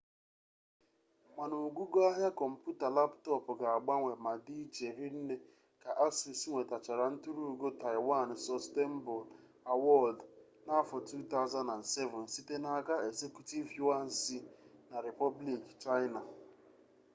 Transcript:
mana ogugo ahịa kọmpụta laptop ga-agbanwe ma dị iche ri nne ka asus nwetachara nturu ugo taịwan sọstenebụl awọdụ n'afọ 2007 site n'aka ezekutiv yuan si na repọblik chaịna